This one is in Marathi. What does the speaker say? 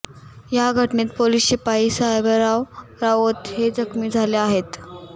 या घटनेत पोलीस शिपाई साहेबराव राऊत हे जखमी झाले आहेत